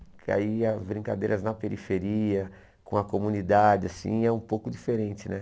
Porque aí as brincadeiras na periferia, com a comunidade, assim, é um pouco diferente, né?